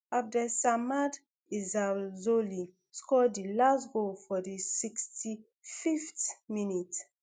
abdessamad ezzalzouli score di last goal for di sixty-fiveth minute